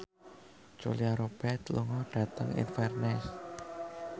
Julia Robert lunga dhateng Inverness